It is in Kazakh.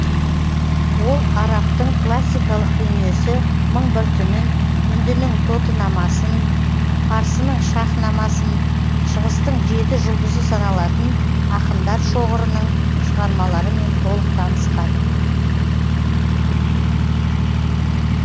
ол арабтың классикалық дүниесі мың бір түнін үндінің тотынамасын парсының шаһнамасын шығыстың жеті жұлдызы саналатын ақындар шоғырының шығармаларымен толық танысқан